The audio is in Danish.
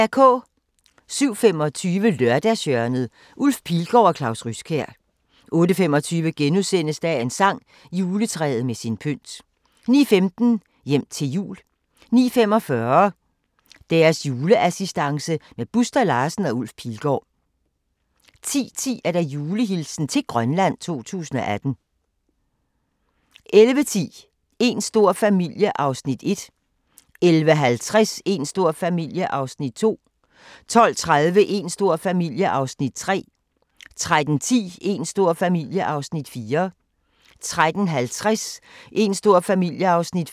07:25: Lørdagshjørnet: Ulf Pilgaard og Claus Ryskjær 08:25: Dagens sang: Juletræet med sin pynt * 09:15: Hjem til jul 09:45: Deres juleassistance med Buster Larsen og Ulf Pilgaard 10:10: Julehilsen til Grønland 2018 11:10: Een stor familie (1:12) 11:50: Een stor familie (2:12) 12:30: Een stor familie (3:12) 13:10: Een stor familie (4:12) 13:50: Een stor familie (5:12)